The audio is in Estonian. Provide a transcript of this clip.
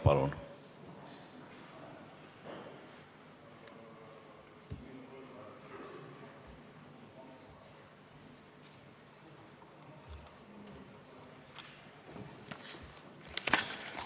Palun!